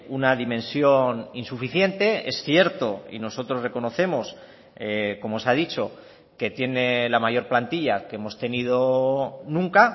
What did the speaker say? una dimensión insuficiente es cierto y nosotros reconocemos como se ha dicho que tiene la mayor plantilla que hemos tenido nunca